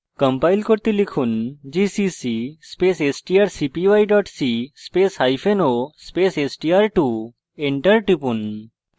compile করতে লিখুন gcc space strcpy c spaceo space str2 enter টিপুন